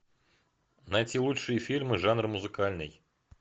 найти лучшие фильмы жанр музыкальный